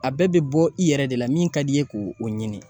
A bɛɛ be bɔ i yɛrɛ de la, min ka d' i ye k'o o ɲini.